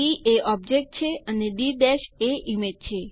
D એ object છે અને ડી એ ઈમેજ છે